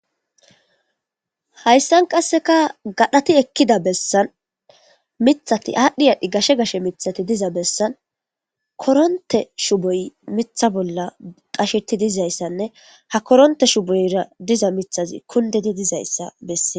hayssan qasseka gadhati ekkida bessan mithati aadhdhi aadhi gashe gashe mithati diza bessan koronte shuboy mitha bolla qasheti dizayssanne ha koronte shuboyra diza mithazi kuldidi dizayssa bessee